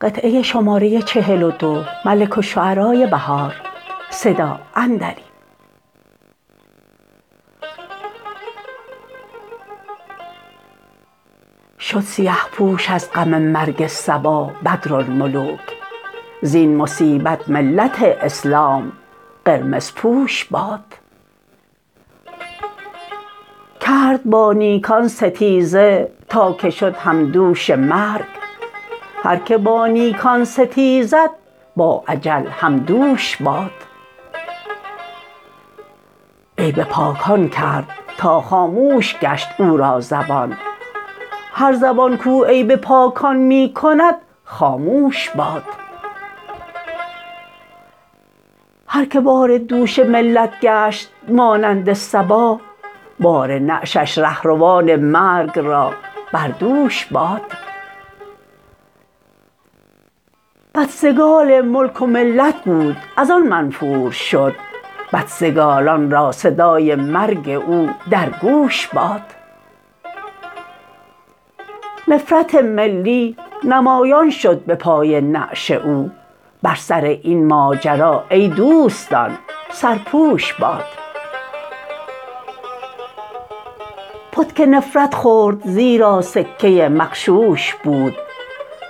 شد سیه پوش از غم مرگ صبا بدرالملوک زین مصیبت ملت اسلام قرمزپوش باد کرد با نیکان ستیزه تا که شد همدوش مرگ هرکه با نیکان ستیزد با اجل همدوش باد عیب پاکان کرد تا خاموش گشت او را زبان هر زبان کاو عیب پاکان می کند خاموش باد هرکه بار دوش ملت گشت مانند صبا بار نعشش رهروان مرگ را بر دوش باد بدسگال ملک و ملت بود از آن منفور شد بدسگالان را صدای مرگ او درگوش باد نفرت ملی نمایان شد به پای نعش او بر سر این ماجرا ای دوستان سرپوش باد پتک نفرت خورد زیرا سکه مغشوش بود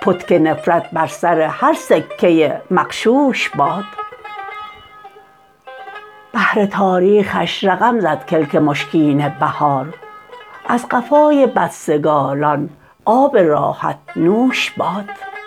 پتک نفرت بر سر هر سکه مغشوش باد بهر تاریخش رقم زد کلک مشکین بهار از قفای بدسگالان آب راحت نوش باد